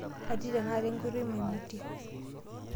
Atii tenakata enkoitoi maimutie.